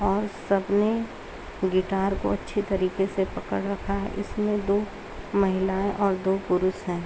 और सब ने गिटार को अच्छी तरीके से पकड़ रखा है इसमें दो महिलाएं और दो पुरुष है।